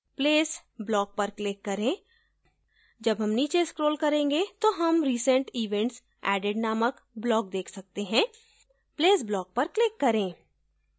place block पर click करें जब हम नीच scroll करेंगे तो हम recent events added नामक block देख सकते हैं place block पर click करें